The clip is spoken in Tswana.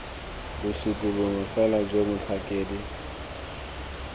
bosupi bongwe fela jo motlhakedi